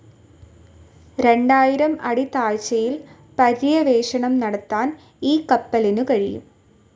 രണ്ടായിരം അടി താഴ്ചയിൽ പര്യവേഷണം നടത്താൻ ഈ കപ്പലിനു കഴിയും.